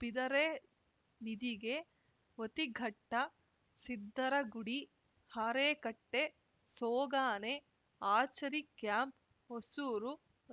ಬಿದರೆ ನಿದಿಗೆ ಓತಿಘಟ್ಟ ಸಿದ್ದರಗುಡಿ ಹಾರೇಕಟ್ಟೆ ಸೋಗಾನೆ ಆಚರಿಕ್ಯಾಂಪ್‌ ಹೊಸೂರು